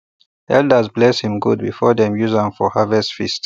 elders bless him goats before dem use am for harvest feast